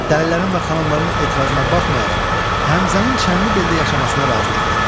Dəlilərin və xanımların etirazına baxmayaraq Həmzənin Çənlibeldə yaşamasına razılıq verir.